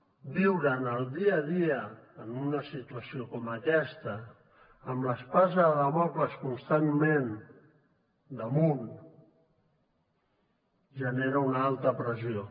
viure en el dia a dia en una situació com aquesta amb l’espasa de dàmocles constantment damunt genera una alta pressió